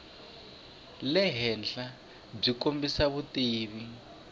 le henhla byi kombisa vutivi